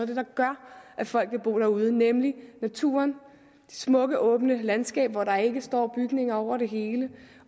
det der gør at folk vil bo derude nemlig naturen de smukke åbne landskaber hvor der ikke står bygninger over det hele